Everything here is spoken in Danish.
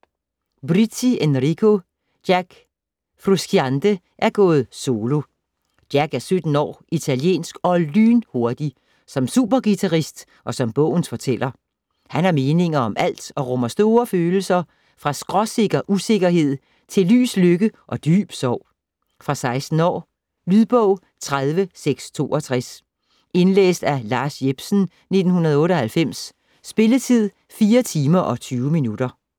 Brizzi, Enrico: Jack Frusciante er gået solo Jack er 17 år, italiensk og lynhurtig - som superguitarist og som bogens fortæller. Han har meninger om alt og rummer store følelser - fra skråsikker usikkerhed til lys lykke og dyb sorg. Fra 16 år. Lydbog 30662 Indlæst af Lars Jepsen, 1998. Spilletid: 4 timer, 20 minutter.